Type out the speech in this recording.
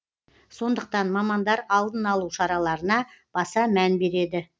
сондықтан мамандар алдын алу шараларына баса мән береді